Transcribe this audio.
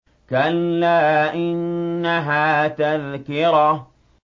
كَلَّا إِنَّهَا تَذْكِرَةٌ